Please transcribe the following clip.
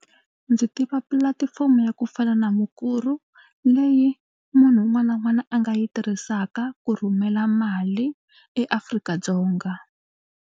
Ndzi tiva pulatifomo ya ku fana na mukuru leyi munhu un'wana na un'wana a nga yi tirhisaka ku rhumela mali eAfrika-Dzonga.